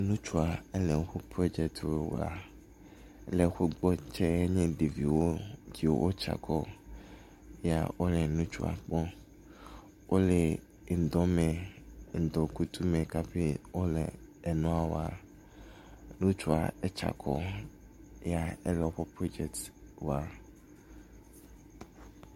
Ŋutsua ele eƒe projectwo wɔa, leƒotsewo na ɖeviowo wole ŋdɔ me, wole ŋdɔ kutsu me kaƒi wole enua wɔa ,ŋutsua etsakɔ ele woƒe project wɔa